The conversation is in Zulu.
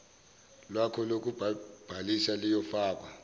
lwakho lokubhalisa luyofakwa